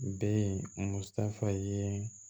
Bɛ musa ye